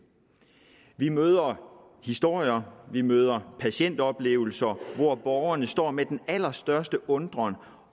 vi møder historier vi møder patientoplevelser hvor borgerne står med den allerstørste undren